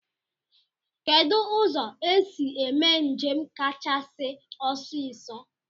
Kedụ ụzọ esi eme njem kachasị ọsiisọ?